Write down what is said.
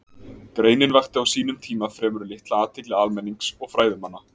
Greinin vakti á sínum tíma fremur litla athygli almennings og fræðimanna.